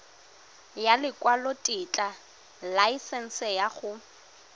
ya lekwalotetla laesense ya go